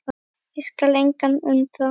og skal engan undra.